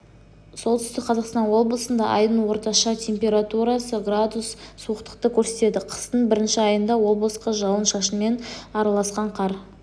солтүстік қазақстан облысында айдың орташа температурасы градус суықтықты көрсетеді қыстың бірінші айында облысқа жауын-шашынмен араласқан қар